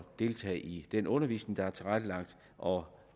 deltage i den undervisning der er tilrettelagt og